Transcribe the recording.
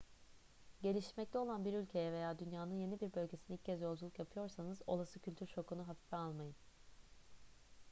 gelişmekte olan bir ülkeye veya dünyanın yeni bir bölgesine ilk kez yolculuk yapıyorsanız olası kültür şokunu hafife almayın